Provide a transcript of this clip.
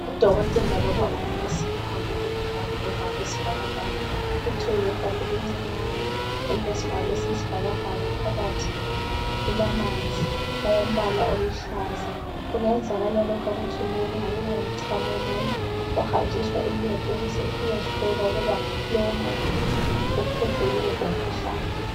Udokotela loba unesi ugqoke iglavu lombala wesibhakabhaka uthwele igabha elincinyane elilesivalo esiyisibhakabhaka phakathi. Lilamanzi awombala oluhlaza kungenzakala lokhu akuthweleyo kungabe kungumchamo womuntu. Uhanjiswa eLebhu ukuze kuyehlolwa ukuba lowo muntu uphethwe yiwuphi umkhuhlane.